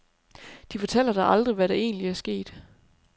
De fortæller dig aldrig, hvad der egentlig er sket.